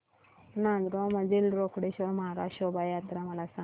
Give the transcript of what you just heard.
नांदगाव मधील रोकडेश्वर महाराज शोभा यात्रा मला सांग